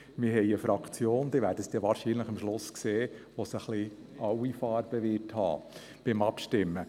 In unserer Fraktion wird es beim Abstimmen sämtliche Farben geben.